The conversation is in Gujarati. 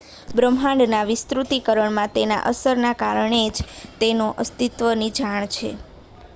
બ્રહ્માંડના વિસ્તૃતીકરણમાં તેની અસરના કારણે જ તેના અસ્તિત્વની જાણ છે